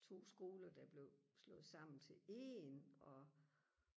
to skoler der blev slået sammen til en og